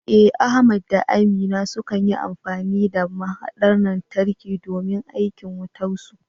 Eh, Ahmad da Aminu sukan yi amfani da mahaɗar lantarki domin aikin wutarsu.